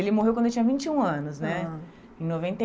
Ele morreu quando eu tinha vinte e um anos, né? Em noventa e